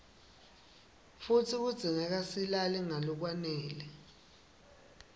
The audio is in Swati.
futsi kudzingeka silale ngalokwanele